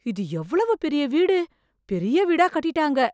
இது எவ்வளவு பெரிய வீடு! பெரிய வீடா கட்டிட்டாங்க.